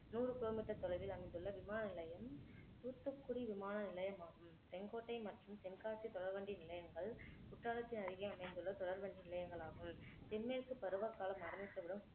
நூறு கிலோமீட்டர் தொலைவில் அமைந்துள்ள விமான நிலையம் தூத்துக்குடி விமான நிலையமாகும் செங்கோட்டை மற்றும் தென்காசி தொடர்வண்டி நிலையங்கள் குற்றாலத்தின் அருகே அமைந்துள்ள தொடர்வண்டி நிலையங்களாகும் தென்மேற்குப் பருவகாலம் ஆரம்பித்தவுடன்